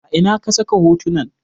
A ina ka saka hotunan?